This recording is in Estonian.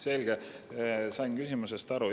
Selge, sain küsimusest aru.